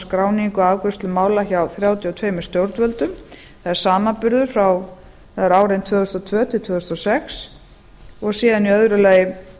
skráningu og afgreiðslu mála hjá þrjátíu og tvö stjórnvöldum það er samanburður fyrir árin tvö þúsund og tvö til tvö þúsund og sex og síðan í öðru lagi